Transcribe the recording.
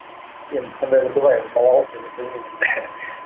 енді сондай бір дұға енді балалық енді білмеймін